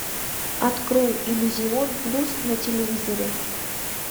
открой иллюзион плюс на телевизоре